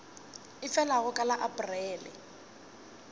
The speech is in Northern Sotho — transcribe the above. e felago ka la aprele